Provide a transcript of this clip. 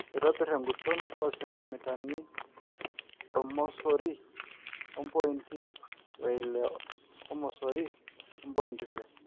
aitobir enguton oo sentimitani ormosori ompinti we ile ormosori ompointi ile